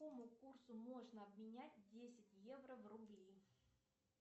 по какому курсу можно обменять десять евро в рубли